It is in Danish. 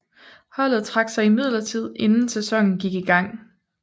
Holdet trak sig imidlertid inden sæsonen gik i gang